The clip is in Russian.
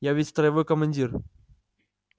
я ведь строевой командир